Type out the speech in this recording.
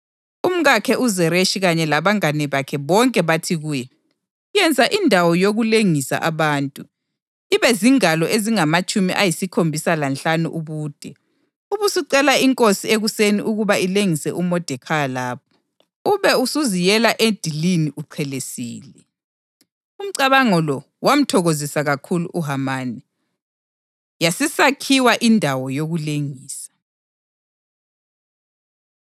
Umkakhe uZereshi kanye labangane bakhe bonke bathi kuye, “Yenza indawo yokulengisa abantu, ibe zingalo ezingamatshumi ayisikhombisa lanhlanu ubude, ubusucela inkosi ekuseni ukuba ilengise uModekhayi lapho. Ube usuziyela edilini uchelesile.” Umcabango lo wamthokozisa kakhulu uHamani, yasisakhiwa indawo yokulengisa.